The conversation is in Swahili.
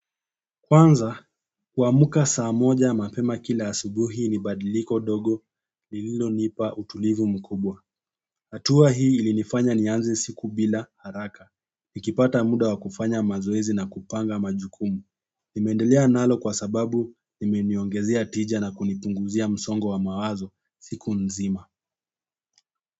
Kwanza, kuamka saa moja mapema kila asubuhi ni badiliko dogo lililo nipa utulivu mkubwa. Hatua hii ilinifanya nianze siku bila haraka. Nikipata muda wa kufanya mazoezi na kupanga majukumu. Nimendelea nalo kwa sababu limeniongezea tija na kunipunguzia msongo wa mawazo siku nzima.